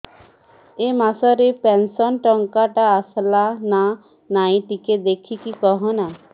ଏ ମାସ ରେ ପେନସନ ଟଙ୍କା ଟା ଆସଲା ନା ନାଇଁ ଟିକେ ଦେଖିକି କହନା